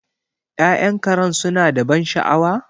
Ya'yan Karen suna da ban sha'awa?